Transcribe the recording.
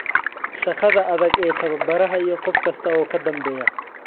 Shaqada adag ee tababaraha iyo qof kasta oo ka dambeeya.